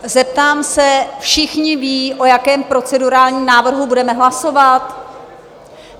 Zeptám se, všichni vědí, o jakém procedurálním návrhu budeme hlasovat?